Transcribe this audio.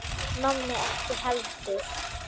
Nonni ekki heldur.